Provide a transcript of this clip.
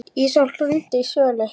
Ísól, hringdu í Söllu.